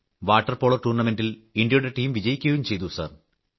water polo ടൂർണമെന്റിൽ ഇൻഡ്യയുടെ team വിജയിക്കുകയും ചെയ്തു സർ